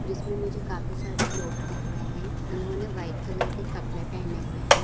जिसमे मुझे काफी सारे लोग दिख रहे है इन्होंने वाइट कलर के कपड़े पहने हुए है।